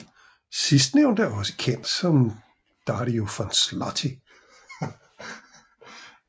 Sidstnævnte er også kendt som Dario von Slutty